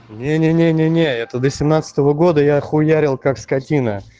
не не не не не это до семнадцатого года я хуярил как скотина